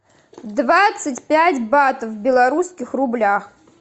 двадцать пять батов в белорусских рублях